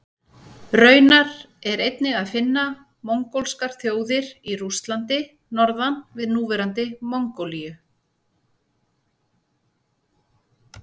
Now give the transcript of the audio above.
Raunar er einnig að finna mongólskar þjóðir í Rússlandi norðan við núverandi Mongólíu.